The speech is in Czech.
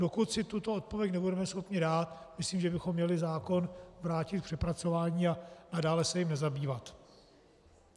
Dokud si tuto odpověď nebudeme schopni dát, myslím, že bychom měli zákon vrátit k přepracování a dále se jím nezabývat.